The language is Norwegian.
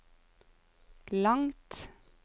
langt